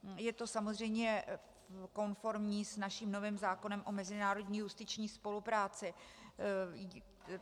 Je to samozřejmě konformní s naším novým zákonem o mezinárodní justiční spolupráci.